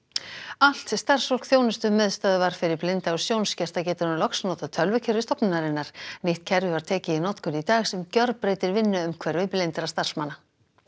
allt starfsfólk þjónustumiðstöðvar fyrir blinda og sjónskerta getur nú loks notað tölvukerfi stofnunarinnar nýtt kerfi var tekið í notkun í dag sem gjörbreytir vinnuumhverfi blindra starfsmanna